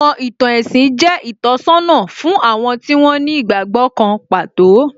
Àwọn ìtàn ẹ̀sìn jẹ́ ìtọ́sọ́nà fún àwọn tí wón ní ìgbàgbọ́ kan pàtó